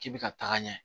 K'i bɛ ka taga ɲɛ